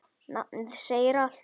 Nafnið segir allt.